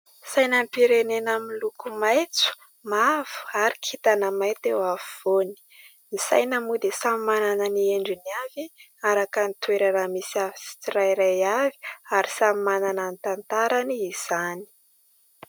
Sainam-pirenena amin'ny loko maitso, mavo ary kintana mainty eo afovoany. Ny saina moa dia samy manana ny endriny avy araka ny toerana misy tsirairay avy ary samy manana ny tantarany izany.